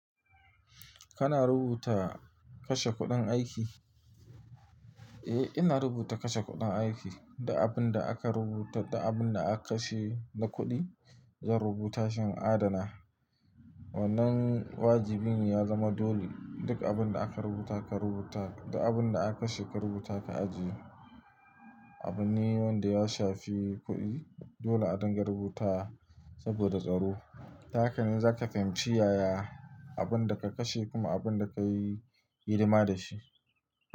Kana rubuta kashe kuɗin aiki? Eh, ina rubuta kashe kuɗin aiki da abin da aka rubuta da abin da aka kashe na kuɗi, zan rubuta shi in adana. Wannan wajibi ya zama dole. Duk abin da aka rubuta ka rubuta da abin da aka kashe ka rubuta ka ajiye. Abun ne wanda ya shafi kuɗi. Dole a dinga rubuta saboda tsaro. Haka ne za ka fahimce yaya abin da ka kashe kuma abin da ka yi hidima da shi.